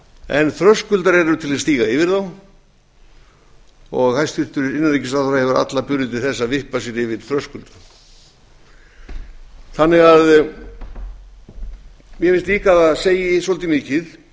en þröskuldar eru til að stíga yfir þá og hæstvirtur innanríkisráðherra hefur alla burði til þess að vippa sér yfir þröskulda mér finnst líka að það segi svolítið mikið